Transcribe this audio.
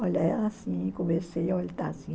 Olha, é assim, conversei assim.